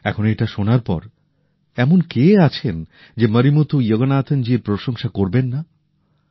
এখন এটা শোনার পর এমন কে আছেন যে মরিমুথু যোগনাথন জীর প্রশংসা করবেন না